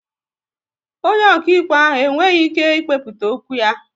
Onye okaịkpe ahụ e nweghị ike ị kpekputa okwu ya